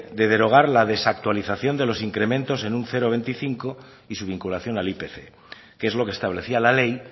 de derogar la desactualización de los incrementos en un cero coma veinticinco y su vinculación al ipc que es lo que establecía la ley